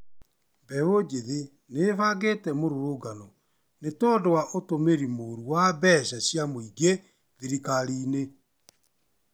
Beũ njĩthĩ nĩĩbangĩte mĩrũrũngano nĩtondũ wa ũtũmĩrĩ mũru wa mbeca cia mũingĩ thirikarinĩ